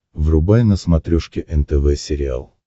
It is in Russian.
врубай на смотрешке нтв сериал